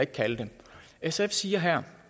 kalde det sf siger her